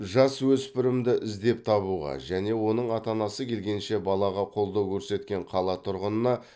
жасөспірімді іздеп табуға және оның ата анасы келгенше балаға қолдау көрсеткен қала тұрғынына